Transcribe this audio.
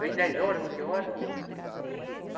Dez horas, onze horas.